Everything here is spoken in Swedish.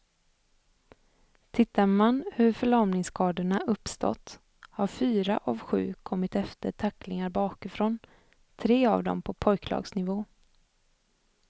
Tittar man hur förlamningsskadorna uppstått har fyra av sju kommit efter tacklingar bakifrån, tre av dem på pojklagsnivå.